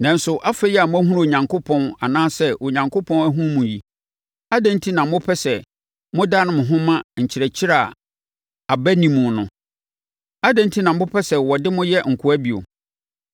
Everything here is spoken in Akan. Nanso, afei a moahunu Onyankopɔn anaasɛ Onyankopɔn ahunu mo yi, adɛn enti na mopɛ sɛ modane mo ho ma nkyerɛkyerɛ a aba nni mu no? Adɛn enti na mopɛ sɛ wɔde mo yɛ nkoa bio?